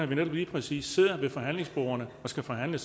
vi når vi lige præcis sidder ved forhandlingsbordene og skal forhandle